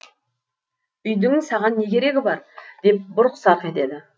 үйдің саған не керегі бар деп бұрқ сарқ етеді